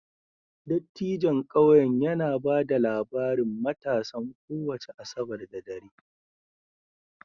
Dattijon ƙauyen yana ba da labarin matasan kowace Asabar da dare